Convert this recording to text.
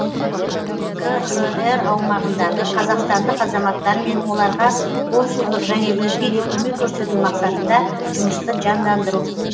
қхр аумағындағы қазақстандық азаматтармен оларға консулдық және өзге де көмек көрсету мақсатында жұмысты жандандыру